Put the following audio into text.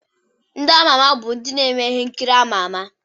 Ndị ámá ámá bụ ndị na-eme ihe nkiri ámá ámá.